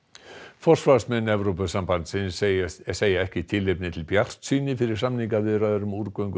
forsvarsmenn Evrópusambandsins segja segja ekki tilefni til bjartsýni fyrir samningaviðræður um